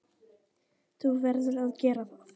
Þú verður að gera það.